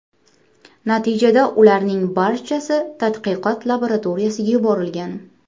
Natijada ularning barchasi tadqiqot laboratoriyasiga yuborilgan.